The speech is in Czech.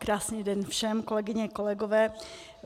Krásný den všem, kolegyně, kolegové.